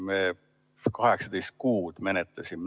Me seda 18 kuud menetlesime.